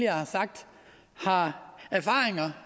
har sagt har erfaringer